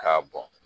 K'a bɔn